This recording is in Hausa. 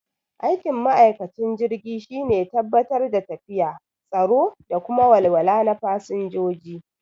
Aikin ma'aikacin jirgi shine tabbatar da lafiya, tsaro da kuma walwala na fasanjoji